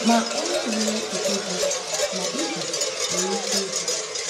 Ma onye nwere echiche dị nnọọ iche nwere ike ịbịa.